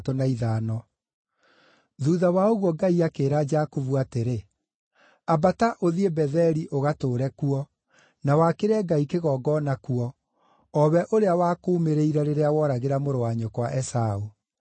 Thuutha wa ũguo Ngai akĩĩra Jakubu atĩrĩ, “Ambata, ũthiĩ Betheli ũgatũũre kuo, na wakĩre Ngai kĩgongona kuo, o we ũrĩa wakuumĩrĩire rĩrĩa woragĩra mũrũ wa nyũkwa Esaũ.”